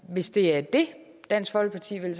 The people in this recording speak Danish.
hvis det er det dansk folkeparti vil